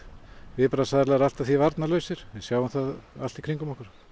viðbragðsaðilar allt að því varnarlausir við sjáum það allt í kringum okkur